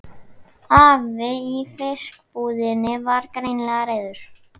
Afi í fiskbúðinni var greinilega reiður.